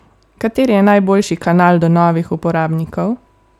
Kateri je najboljši kanal do novih uporabnikov?